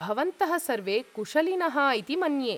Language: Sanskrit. भवन्तः सर्वे कुशलिनः इति मन्ये।